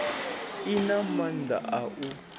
i na maanda a u